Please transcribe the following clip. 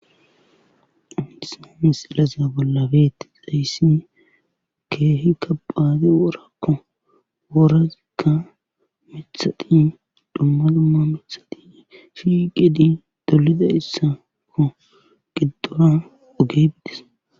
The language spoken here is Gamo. hayssa misileza bolla beetizayssi keehi kabade worako.woratikka miththati dumma dumma miththati shiiqidi dollidayssa gidora oge dees.